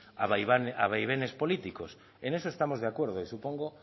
a vaivenes políticos en eso estamos de acuerdo y supongo